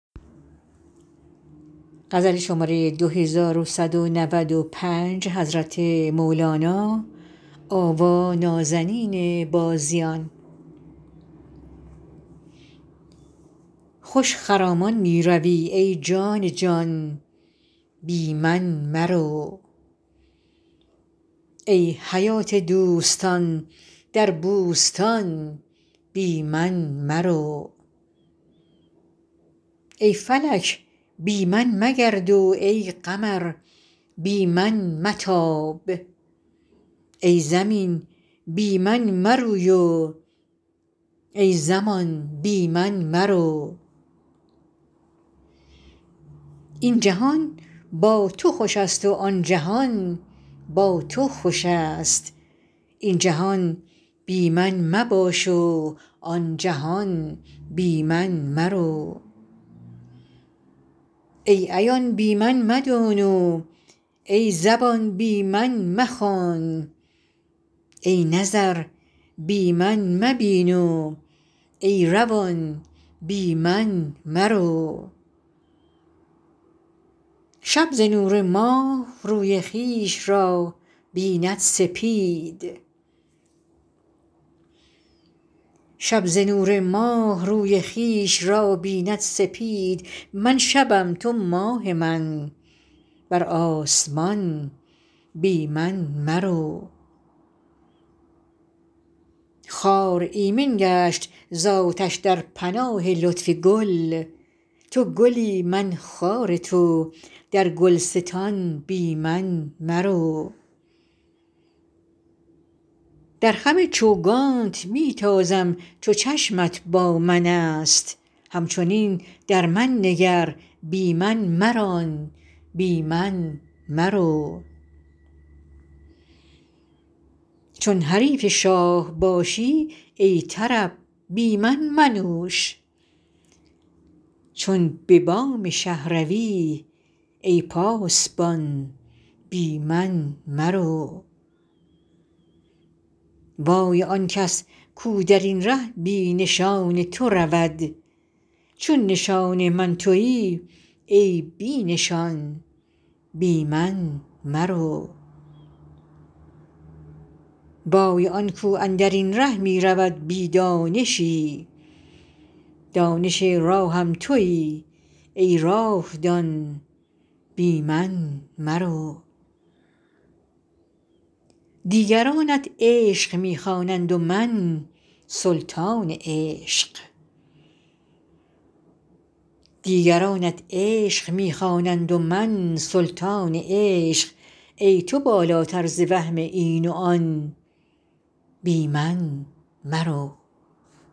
خوش خرامان می روی ای جان جان بی من مرو ای حیات دوستان در بوستان بی من مرو ای فلک بی من مگرد و ای قمر بی من متاب ای زمین بی من مروی و ای زمان بی من مرو این جهان با تو خوش است و آن جهان با تو خوش است این جهان بی من مباش و آن جهان بی من مرو ای عیان بی من مدان و ای زبان بی من مخوان ای نظر بی من مبین و ای روان بی من مرو شب ز نور ماه روی خویش را بیند سپید من شبم تو ماه من بر آسمان بی من مرو خار ایمن گشت ز آتش در پناه لطف گل تو گلی من خار تو در گلستان بی من مرو در خم چوگانت می تازم چو چشمت با من است همچنین در من نگر بی من مران بی من مرو چون حریف شاه باشی ای طرب بی من منوش چون به بام شه روی ای پاسبان بی من مرو وای آن کس کو در این ره بی نشان تو رود چو نشان من توی ای بی نشان بی من مرو وای آن کو اندر این ره می رود بی دانشی دانش راهم توی ای راه دان بی من مرو دیگرانت عشق می خوانند و من سلطان عشق ای تو بالاتر ز وهم این و آن بی من مرو